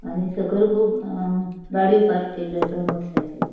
आणि सकयल खूब अ गाड़ियों पार्क केलयों आसात मोटर साइकली --